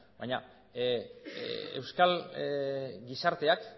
baina euskal gizarteak